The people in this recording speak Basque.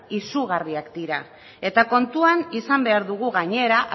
izugarriak dira eta kontuan izan behar dugu gainera